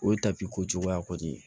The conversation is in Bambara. O ye ko cogoya kɔni ye